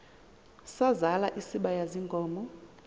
sazal isibaya ziinkomo